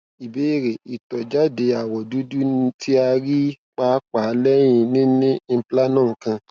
ìbéèrè itọjade awọ dudu ti a rii paapaa lẹhin nini implanon kan